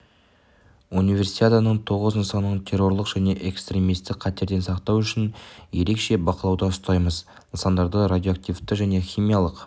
универсиаданың тоғыз нысанын террорлық және экстремистік қатерден сақтау үшін ерекше бақылауда ұстаймыз нысандарда радиоактивті және химиялық